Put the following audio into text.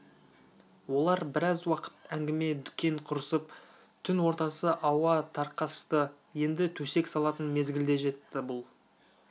олар біраз уақыт әңгіме-дүкен құрысып түн ортасы ауа тарқасты енді төсек салатын мезгіл де жетті бұл